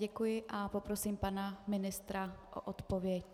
Děkuji a poprosím pana ministra o odpověď.